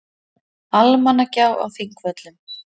Almannagjá á Þingvöllum.